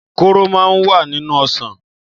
Kóró máa ń wà nínú ọsàn.